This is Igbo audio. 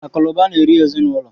Akụ na ụba na-eri ezinụlọ.